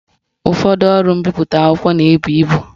Ụfọdụ ngwaọrụ mbipụta akwụkwọ na-ebu ibu